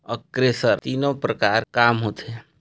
एकरेसर तीनो प्रकार काम होत थे।